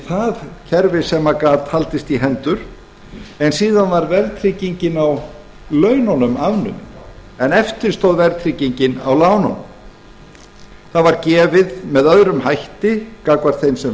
það kerfi sem gat haldist í hendur en síðan var verðtryggingin á laununum afnumin en eftir stóð verðtryggingin á lánunum það var gefið með öðrum hætti gagnvart þeim sem